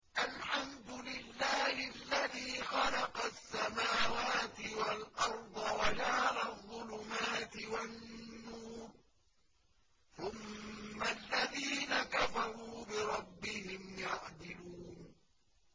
الْحَمْدُ لِلَّهِ الَّذِي خَلَقَ السَّمَاوَاتِ وَالْأَرْضَ وَجَعَلَ الظُّلُمَاتِ وَالنُّورَ ۖ ثُمَّ الَّذِينَ كَفَرُوا بِرَبِّهِمْ يَعْدِلُونَ